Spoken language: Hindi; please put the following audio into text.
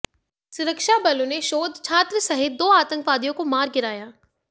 सुरक्षा बलों ने शोध छात्र सहित दो आतंकवादियों को मार गिराया